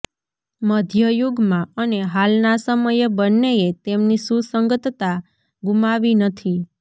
મધ્ય યુગમાં અને હાલના સમયે બંનેએ તેમની સુસંગતતા ગુમાવી નથી